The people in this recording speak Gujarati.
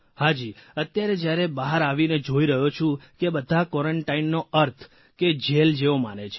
હાજી અત્યારે જયારે બહાર આવીને જોઇ રહ્યો છું કે બધા ક્વોરન્ટાઇનનો અર્થ કે જેલ જેવો માને છે